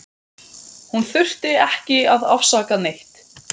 Hún þurfti ekki að afsaka neitt.